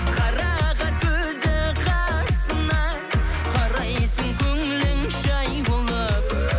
қарақат көзді қасыңа қарайсың көңілің жай болып